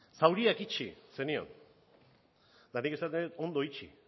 zauriak itxi zenion eta nik esaten dut ondo itxi